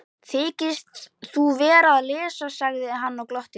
Þykist þú vera að lesa, sagði hann og glotti.